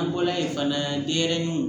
An bɔla yen fana denɲɛrɛninw